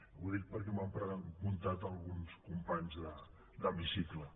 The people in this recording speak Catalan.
ho dic perquè m’ho han preguntat alguns companys d’hemicicle